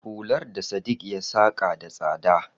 Hular da Sadiq ya saka da tsada.